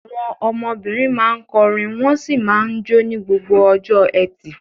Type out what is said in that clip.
Àwọn ọmọbìnrin máa ń kọrin wọ́n sì máa ń jó ní gbogbo ọjọ́ ẹtì.